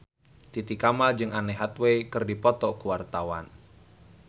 Titi Kamal jeung Anne Hathaway keur dipoto ku wartawan